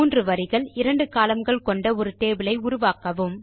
3 வரிகள் 2 columnகள் கொண்ட ஒரு டேபிள் ஐ உருவாக்கவும்